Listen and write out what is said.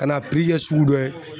Ka n'a kɛ sugu dɔ ye.